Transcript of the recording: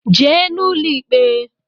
Jee n’ụlọ ikpe!